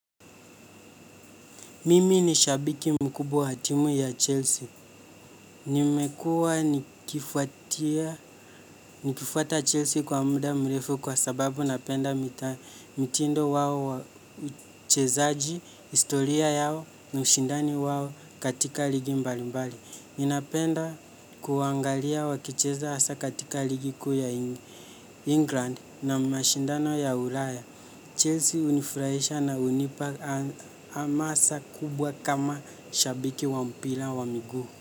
Mimi ni shabiki mkubwa wa timu ya Chelsea. Nimekuwa nikifuata Chelsea kwa muda mrefu kwa sababu napenda mtindo wao wa uchezaji, historia yao na ushindani wao katika ligi mbalimbali. Ninapenda kuangalia wakicheza hasa katika ligi kuu ya England na mashindano ya ulaya. Chelsea hunifurahisha na hunipa hamasa kubwa kama shabiki wa mpira wa miguu.